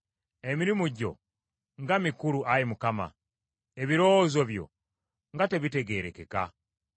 Emirimu gyo nga mikulu, Ayi Mukama ; ebirowoozo byo nga tebitegeerekeka!